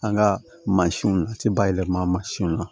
An ka mansinw a tɛ bayɛlɛma mansinw la